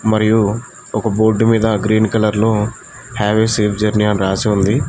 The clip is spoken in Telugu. మరియు ఒక బోర్డు మీద గ్రీన్ కలర్ లో హావ్ ఏ సేఫ్ జర్నీ అని రాసి ఉంది.